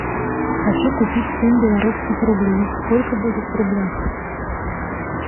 хочу купить семь белорусских рублей сколько будет в рублях